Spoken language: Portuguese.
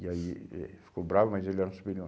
E aí, eh ficou bravo, mas ele era um superior.